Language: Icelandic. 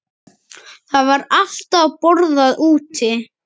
Það var alltaf borðað úti.